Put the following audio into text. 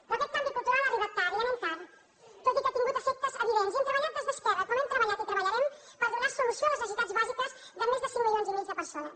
però aquest canvi cultural ha arribat tard ja anem tard tot i que ha tingut efectes evidents i hem treballat des d’esquerra com hem treballat i treballarem per donar solució a les necessitats bàsiques de més de cinc coma cinc milions de persones